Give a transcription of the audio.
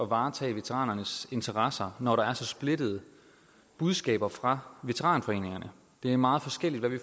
varetage veteranernes interesser når der er så splittede budskaber fra veteranforeningerne det er meget forskelligt hvad de